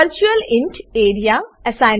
વર્ચ્યુઅલિન્ટ A R E A virtualint area